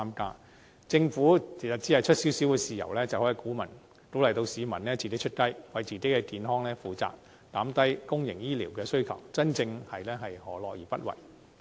其實，政府只需出一點豉油，便可以鼓勵市民自己出雞，為自己的健康負責，減低公營醫療的需求，真正是何樂而不為。